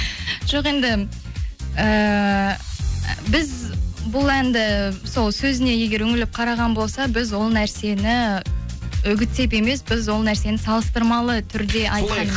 жоқ енді ііі біз бұл әнді сол сөзіне егер үңіліп қараған болса біз ол нәрсені үгіттеп емес біз ол нәрсені салыстырмалы түрде айтқан